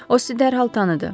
O sizi dərhal tanıdı.